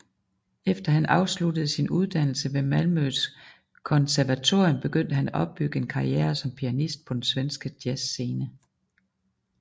Efter han afsluttede sin uddannelse ved Malmøs konservatorium begyndte han at opbygge en karriere som pianist på den svenske jazzscene